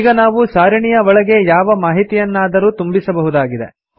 ಈಗ ನಾವು ಸಾರಿಣಿಯ ಒಳಗೆ ಯಾವ ಮಾಹಿತಿಯನ್ನಾದರೂ ತುಂಬಿಸಬಹುದಾಗಿದೆ